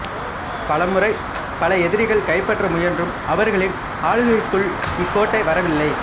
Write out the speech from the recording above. பல முறை பல எதிரிகள் கைப்பற்ற முயன்றும் அவர்களின் ஆளுகைக்குள் இக்கோட்டை வரவில்லை